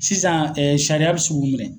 Sisan ɛɛ sariya be se k'u minɛ.